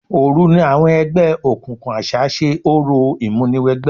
Òru ni àwọn ẹgbẹ́ òkùnkùn àṣá ṣe orò ìmúniwẹgbẹ́.